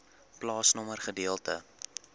plaasnommer gedeelte